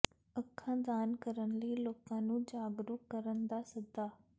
ਅੱਖਾਂ ਦਾਨ ਕਰਨ ਲਈ ਲੋਕਾਂ ਨੂੰ ਜਾਗਰੂਕ ਕਰਨ ਦਾ ਸੱਦਾ